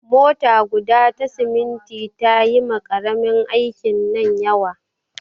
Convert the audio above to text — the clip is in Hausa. Mota guda ta siminti ta yi ma ƙaramin aikin nan yawa.